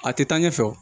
A tɛ taa ɲɛfɛ wa